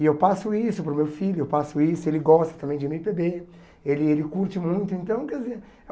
E eu passo isso para o meu filho, eu passo isso ele gosta também de eme pê bê, ele ele curte muito. Então, quer dizer